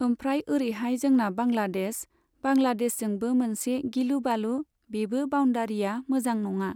ओमफ्राय ओरैहाय जोंना बांग्लादेश, बांग्लादेशजोंबो मोनसे गिलुबालु बेबो बाउण्डारिया मोजां नङा।